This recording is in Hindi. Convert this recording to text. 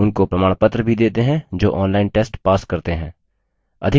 उनको प्रमाणपत्र भी देते हैं जो online test pass करते हैं